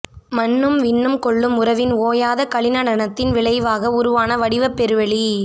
மண்ணும் விண்ணும் கொள்ளும் உறவின் ஓயாத களிநடனத்தின் விளைவாக உருவான வடிவப்பெருவெளி